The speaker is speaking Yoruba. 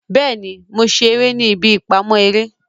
Bẹẹni, Mo ṣe ere ni ibi ipamọ ere